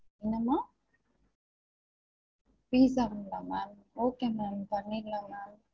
என்ன ma'am? pizza ங்களா ma'am okay ma'am பண்ணிடலாம் ma'am